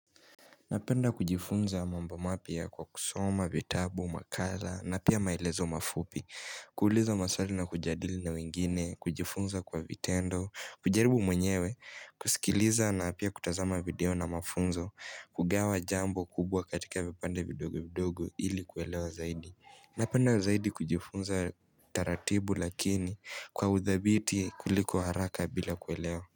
Napenda kujifunza mambo mapya kwa kusoma vitabu, makala na pia maelezo mafupi kuuliza maswali na kujadili na wengine, kujifunza kwa vitendo, kujaribu mwenyewe kusikiliza na pia kutazama video na mafunzo, kugawa jambo kubwa katika vipande vidogo vidogo ili kuelewa zaidi Napenda zaidi kujifunza taratibu lakini kwa uthabiti kuliko haraka bila kuelewa.